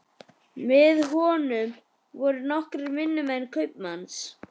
Með honum voru nokkrir vinnumenn kaupmanns.